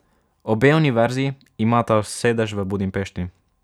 Obe univerzi imata sedež v Budimpešti.